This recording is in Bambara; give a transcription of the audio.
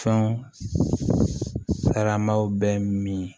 Fɛn saramaw bɛ min